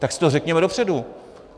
Tak si to řekněme dopředu.